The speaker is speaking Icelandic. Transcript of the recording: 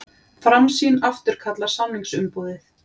Framsýn afturkallar samningsumboðið